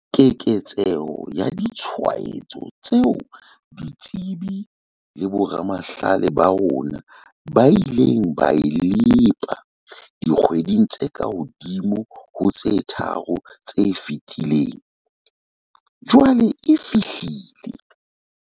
Keketseho ya ditshwaetso tseo ditsebi le boramahlale ba rona ba ileng ba e lepa dikgweding tse kahodimo ho tse tharo tse fetileng, jwale e fihlile.